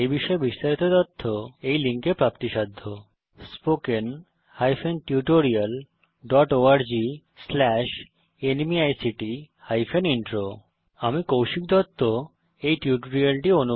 এই বিষয়ে বিস্তারিত তথ্য এই লিঙ্কে প্রাপ্তিসাধ্য spoken hyphen tutorial dot org slash NMEICT hyphen intro আমি কৌশিক দত্ত এই টিউটোরিয়ালটি অনুবাদ করেছি